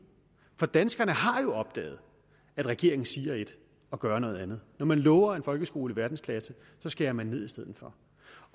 for danskerne har jo opdaget at regeringen siger ét og gør noget andet når man lover en folkeskole i verdensklasse så skærer man ned i stedet for